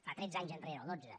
fa tretze anys enrere o dotze